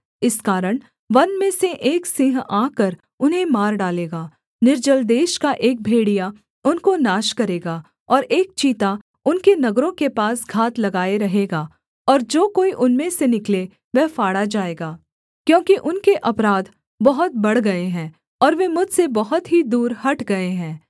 इस कारण वन में से एक सिंह आकर उन्हें मार डालेगा निर्जल देश का एक भेड़िया उनको नाश करेगा और एक चीता उनके नगरों के पास घात लगाए रहेगा और जो कोई उनमें से निकले वह फाड़ा जाएगा क्योंकि उनके अपराध बहुत बढ़ गए हैं और वे मुझसे बहुत ही दूर हट गए हैं